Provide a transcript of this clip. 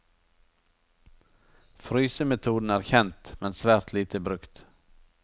Frysemetoden er kjent, men svært lite brukt.